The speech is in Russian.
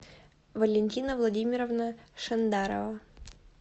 валентина владимировна шандарова